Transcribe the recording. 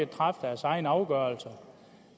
træffe deres egne afgørelser